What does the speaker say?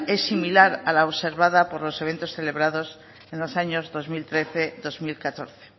es similar a la observada por los eventos celebrados en los años dos mil trece dos mil catorce